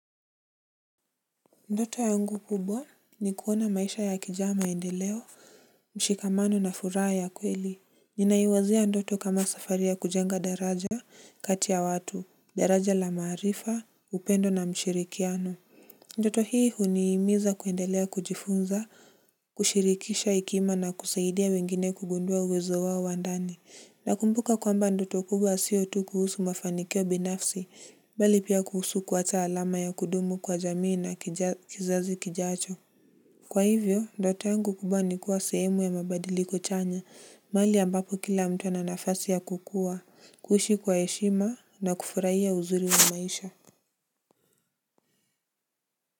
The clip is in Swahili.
Ndoto yangu kubwa ni kuona maisha yakijaa maendeleo mshikamano na furaha ya kweli ninaiwazia ndoto kama safari ya kujenga daraja kati ya watu daraja la maarifa upendo na mshirikiano ndoto hii huniimiza kuendelea kujifunza kushirikisha hekima na kusaidia wengine kugundua uwezo wao wandani. Na kumbuka kwamba ndoto kubwa sio tu kuhusu mafanikio binafsi, mbali pia kuhusu kuacha alama ya kudumu kwa jamii na kizazi kijacho. Kwa hivyo, ndoto yangu kubwa nikuwa sehemu ya mabadiliko chanya, mahali ambapo kila mtu ananafasi ya kukua, kuishi kwa heshima na kufurahia uzuri wa maisha.